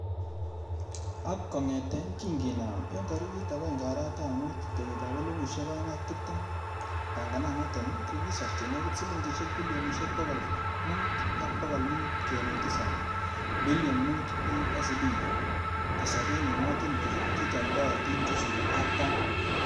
Ak kongeten kin kinaam en tarikit agenge arawetab mut, kenyitab elfusiek o'eng ak tibtem, Pang'ananoton ko kisor che nekit siling'isiek bilionisiek bogol mut ak bogol mut kenuch tisab(Bilion mut USD) kosobe emotinwek che chomdootin chesire Artam.